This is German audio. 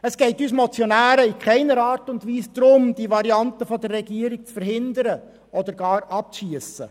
Es geht uns Motionären in keiner Art und Weise darum, die Variante der Regierung zu verhindern oder gar abzuschiessen.